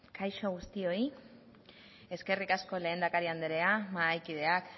kaixo guztioi eskerrik asko lehendakaria mahai kideak